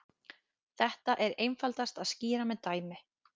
Þetta er einfaldast að skýra með dæmi.